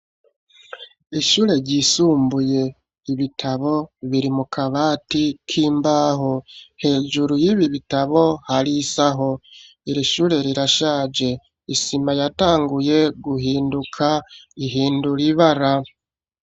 Ishure ryisumbuye; ibitabo, biri mu kabati k'imbaho; hejuru y'ibi bitabo, hari isaho; iri shure rirashaje, isima yatanguye guhinduka, ihindura ibara.